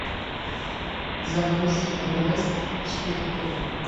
загрузи эверест четыре к